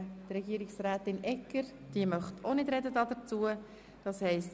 Regierungsrätin Egger, ob sie das Wort wünscht.